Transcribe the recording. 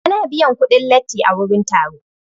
Ana biyan kuɗin latti a wurin taro.